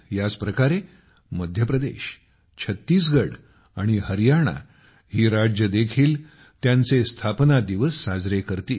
याच प्रकारे मध्य प्रदेश छत्तीसगड आणि हरियाणा ही राज्ये देखील त्यांचे स्थापना दिवस साजरे करतील